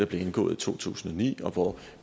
blev indgået i to tusind og ni og hvor